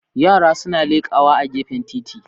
Yara suna lekawa a gefen titi